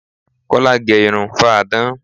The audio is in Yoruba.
Kola gẹ irun fáadán